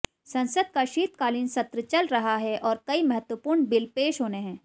संसद का शीतकालीन सत्र चल रहा है और कई महत्वपूर्ण बिल पेश होने हैं